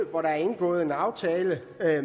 hvor der er indgået en aftale